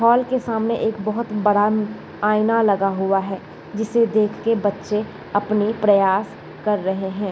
वाल के सामने एक बहोत बड़ा म आईना लगा हुआ है जिसे देख के बच्चे अपने प्रयास कर रहे हैं।